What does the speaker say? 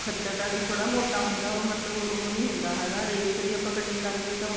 ਖੱਦਰ ਦਾ ਥੋੜਾ ਮੋਟਾ ਹੁੰਦਾ ਮਤਲਬ ਉਹ ਨਹੀ ਹੁੰਦਾ ਹੈਗਾ rave ਛ ਵੀ ਆਪਾਂ cutting ਕਰ ਲਈਏ ਤਾਂ